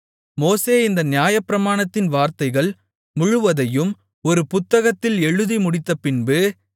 மோசே இந்த நியாயப்பிரமாணத்தின் வார்த்தைகள் முழுவதையும் ஒரு புத்தகத்தில் எழுதி முடித்தபின்பு